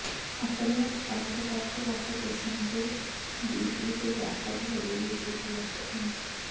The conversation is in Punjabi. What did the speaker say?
ਆਪਣੇ ਉਤਪਾਦ ਵੱਖ ਵੱਖ ਕਿਸਮ ਦੇ ਦੀ ਇੱਕ ਵਿਆਪਕ ਲੜੀ ਵਿੱਚ ਉਪਲਬਧ ਹਨ